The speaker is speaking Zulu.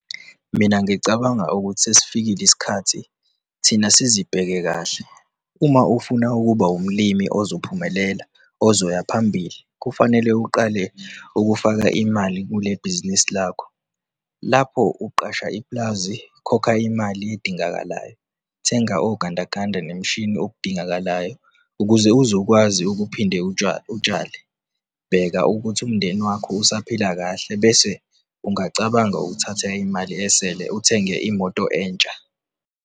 Mina ngicabanga ukuthi sesifikile isikhathi thina sizibheke kahle - uma ufuna ukuba umlimi ozophumelela ozoya phambili kufanele uqale ukufaka imali kule bhizinisi lakho - lapho uqhasha ipulazi, kokha imali edingekayo, thenga ogandaganda nemishini okudingekayo ukuze uzokwazi ukuphinda ukutshala, bheka ukuthi umndeni wakho usaphila kahle, bese ungacabanga ukuthatha imali esele uthenge imoto ensha.